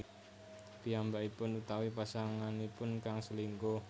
Piyambakipun utawi pasanganipun kang selingkuh